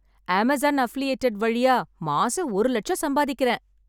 Amazon affiliated வழியா மாசம் ஒரு லட்சம் சம்பாதிக்கிறேன்